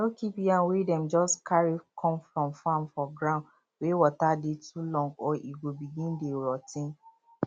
no keep yam wey dem just carry come from farm for gound wey water dey too long or e go begin dey rot ten